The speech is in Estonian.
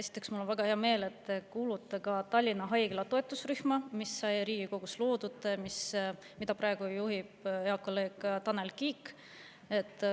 Esiteks, mul on väga hea meel, et te kuulute Tallinna Haigla toetusrühma, mis sai Riigikogus loodud ja mida praegu juhib hea kolleeg Tanel Kiik.